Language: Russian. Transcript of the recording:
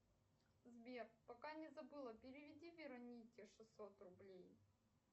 сбер пока не забыла переведи веронике шестьсот рублей